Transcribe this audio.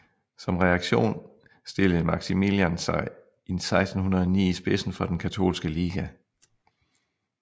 Som reaktion stillede Maximilian sig i 1609 i spidsen for Den katolske Liga